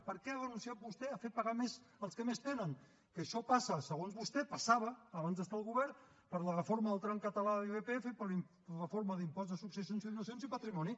per què ha renunciat vostè a fer pagar més als que més tenen que això passa segons vostè passava abans d’estar al govern per la reforma del tram català de l’irpf per la reforma de l’impost de successions i donacions i patrimoni